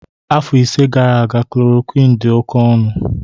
Afọ ise gara aga chloroquine dị oke ọnụ